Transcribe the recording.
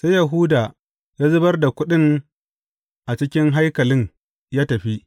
Sai Yahuda ya zubar da kuɗin a cikin haikalin ya tafi.